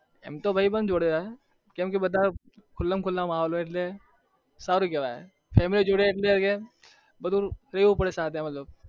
એમતો ભાઈબધ જોડે હોય એટલે સારું કેવાય family જોડે રેવું પડે થોડું